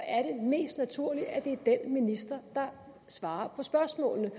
er det mest naturligt at det er den minister der svarer på spørgsmålet